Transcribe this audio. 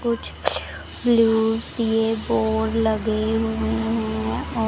कुछ ब्लू सी बोर्ड लगे हुए हैं।